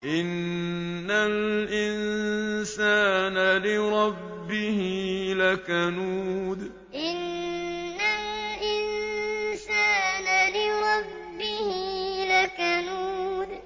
إِنَّ الْإِنسَانَ لِرَبِّهِ لَكَنُودٌ إِنَّ الْإِنسَانَ لِرَبِّهِ لَكَنُودٌ